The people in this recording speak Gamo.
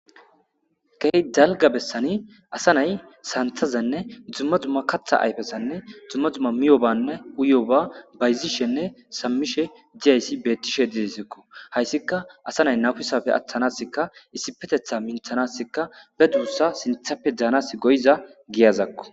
key dalga bessani asa nay santazenne dzumma dzumma katha ayfessanne dzumma dzumma miyobanne uyo ba bayzishenne sammishe diyayssi bettishe didesekko hayssika asa nay nafusafe attanasika issipetetha minthanasikka be duussa sinthappe daanas goyiza giyazakko